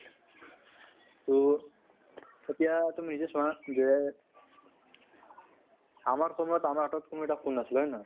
তহ এতিয়া তুমি নিজে চোৱা যে আমাৰ সময়্ত আমাৰ হাতত কোনো এটা phone নাছিল হয় নে নহয়?